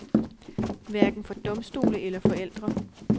Hverken for domstole eller forældre.